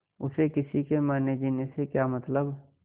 उसे किसी के मरनेजीने से क्या मतलब